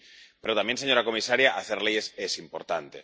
Sí, pero también, señora comisaria, hacer leyes es importante.